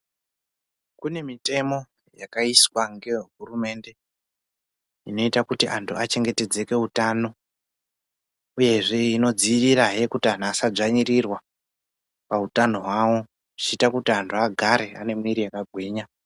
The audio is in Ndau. Kune mitemo yakaiswa ngevehurumende inoita kuti antu achengetedzeke utano uyezve inodzivirira zve kuti antu asadzvanyirirwa pautano hwavo zvichiita kuti antu agare ane miiri yakagwinya.